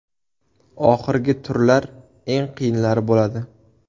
Oxirgi turlar eng qiyinlari bo‘ladi.